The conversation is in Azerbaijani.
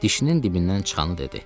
Dişinin dibindən çıxanı dedi.